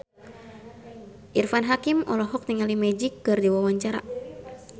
Irfan Hakim olohok ningali Magic keur diwawancara